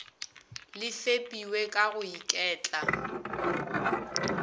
le fepiwe ka go iketla